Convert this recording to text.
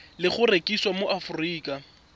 le go rekisiwa mo aforika